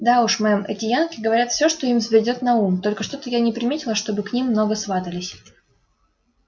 да уж мэм эти янки говорят всё что им взбредёт на ум только что-то я не приметила чтобы к ним много сватались